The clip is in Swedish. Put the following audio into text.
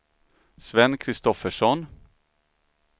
Sven Kristoffersson